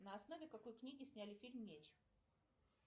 на основе какой книги сняли фильм меч